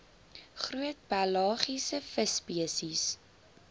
groot pelagiese visspesies